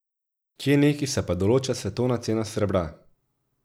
Kje neki se pa določa svetovna cena srebra?